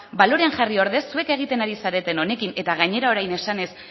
balorean jarri ordez zuek egiten ari zareten honekin eta gainera orain esanez